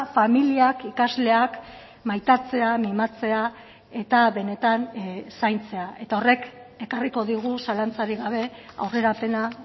familiak ikasleak maitatzea mimatzea eta benetan zaintzea eta horrek ekarriko digu zalantzarik gabe aurrerapena